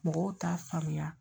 Mɔgɔw t'a faamuya